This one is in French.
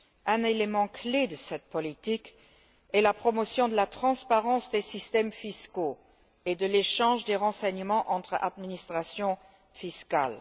Un élément clé de cette politique est la promotion de la transparence des systèmes fiscaux et de l'échange des renseignements entre administrations fiscales.